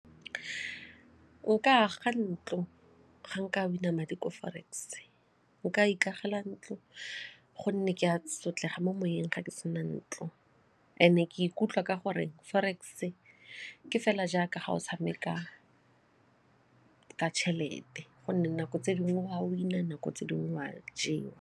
O ka aga ntlo ga nka win-a madi ko forex, o ka ikagela ntlo gonne ke a sotlega mo moyeng ga ke sena ntlo and e ke ikutlwa ka gore forex ke fela jaaka ga o tshameka ka tšhelete gonne nako tse dingwe o a win-a nako tse dingwe o a jewa.